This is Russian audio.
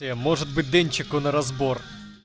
э может быть денчику на разбор